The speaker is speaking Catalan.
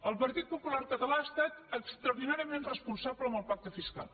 el partit popular català ha estat extraordinàriament responsable amb el pacte fiscal